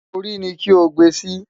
Orí ni kí o gbe sí!